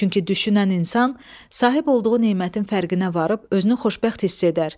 Çünki düşünən insan sahib olduğu nemətin fərqinə varıb özünü xoşbəxt hiss edər.